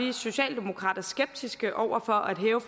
vi socialdemokrater skeptiske over for at hæve